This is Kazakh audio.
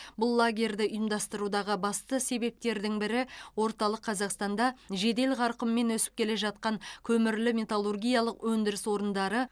бұл лагерьді ұйымдастырудағы басты себептердің бірі орталық қазақстанда жедел қарқынмен өсіп келе жатқан көмірлі металлургиялық өндіріс орындары